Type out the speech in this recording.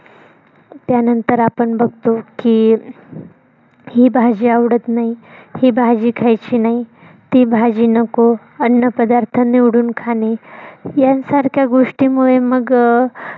त्या नंतर आपण बघतो की, ही भाजी आवडत नाही, ही भाजी खायची नाही, ती भाजी नको, अन्न पदार्थ निवडून खाणे यांसारख्या गोष्टीमुळे मग अं